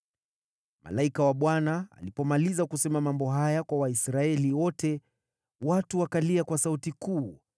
Malaika wa Bwana alipomaliza kusema mambo haya kwa Waisraeli wote, watu wakalia kwa sauti kuu.